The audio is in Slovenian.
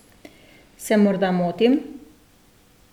Se morda motim?